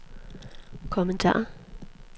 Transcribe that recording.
kommentar